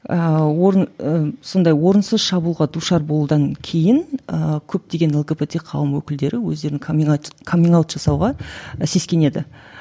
ыыы орын сондай орынсыз шабуылға душар болудан кейін ыыы көптеген лгбт қауым өкілдері өздерін жасауға сескенеді